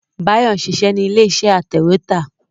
Bayo ń ṣiṣẹ́ nílé iṣẹ́ atẹ̀wẹ́tà